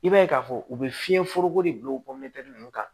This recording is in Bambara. I b'a ye k'a fɔ u bɛ fiɲɛ foroko de bila o ninnu kan